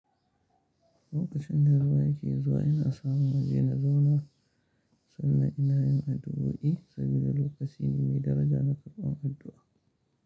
Lokacin da ruwa ke zuwa ina samu naje na zauna sannan ina yin addu'o'i saboda lokaci ne mai daraja na karɓan addu'a.